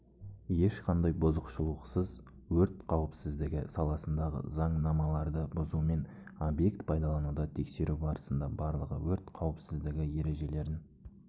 ешқандай бұзушылықсыз өрт қауіпсіздігі саласындағы заңнамаларды бұзумен объект пайдаланылуда тексеру барысында барлығы өрт қауіпсіздігі ережелерін